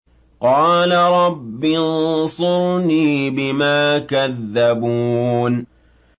قَالَ رَبِّ انصُرْنِي بِمَا كَذَّبُونِ